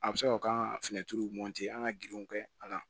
A bɛ se ka o ka an ka girinw kɛ ala